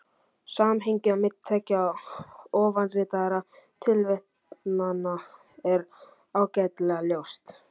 Samhengið á milli tveggja ofanritaðra tilvitnana er ágætlega ljóst.